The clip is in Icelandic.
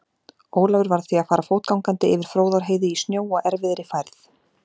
Ólafur varð því að fara fótgangandi yfir Fróðárheiði í snjó og erfiðri færð.